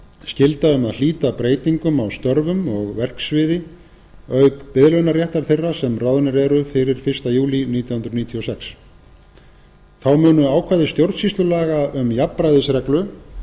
skylda um að hlíta breytingum á störfum og verksviði auk biðlaunaréttar þeirra sem ráðnir eru fyrir fyrsta júlí nítján hundruð níutíu og sex þá munu ákvæði stjórnsýslulaga um jafnræðisreglu